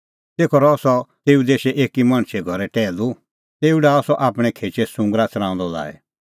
तेखअ रहअ सह तेऊ देशै एकी मणछे घरै टैहलू तेऊ डाहअ सह आपणैं खेचै सुंगरा च़राऊंदअ लाई